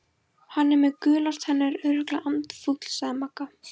Hann er með gular tennur, örugglega andfúll sagði Magga.